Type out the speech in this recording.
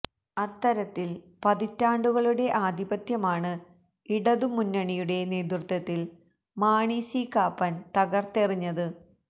അത്തരിത്തിൽ പതിറ്റാണ്ടുകളുടെ ആധിപത്യമാണ് ഇടതുമുന്നണിയുടെ നേതൃത്വത്തിൽ മാണി സി കാപ്പാൻ തകർത്തതെറിഞ്ഞത്